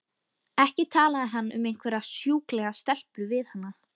Ekki talaði hann um einhverjar sjúklegar stelpur við hana!